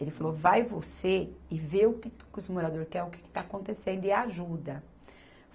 Ele falou, vai você e vê o que que os morador quer, o que que está acontecendo e ajuda.